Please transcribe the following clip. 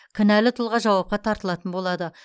кінәлі тұлға жауапқа тартылатын болады